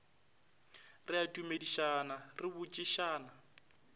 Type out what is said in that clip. re a dumedišana re botšišana